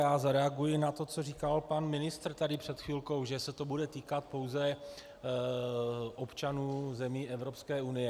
Já zareaguji na to, co říkal pan ministr tady před chvilkou, že se to bude týkat pouze občanů zemí Evropské unie.